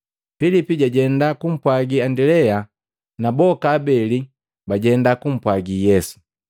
Pilipi jwajenda kumpwagi Andilea na boka abeli bajenda kumpwagi Yesu.